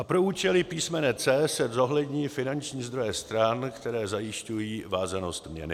A pro účely písmene c) se zohlední finanční zdroje stran, které zajišťují vázanost měny.